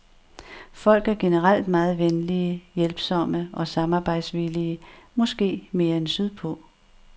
Folk er generelt meget venlige, hjælpsomme og samarbejdsvillige, måske mere end sydpå.